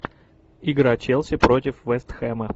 игра челси против вест хэма